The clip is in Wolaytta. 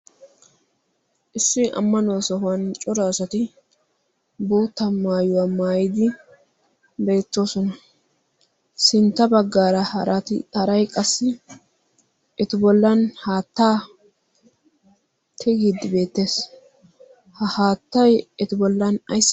issi ammanuwaa sohuwan cora asati boota maayuwaa maayidi beettoosona sintta baggaara raharay qassi etu bollan haattaa tigiiddi beettees ha haattay etu bollan ay